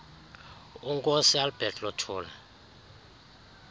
unkosi albert luthuli